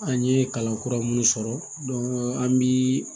An ye kalan kura minnu sɔrɔ an bi